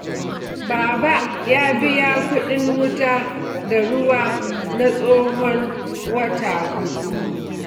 Baba ya biya kuɗin wuta da ruwa na tsahon wata huɗu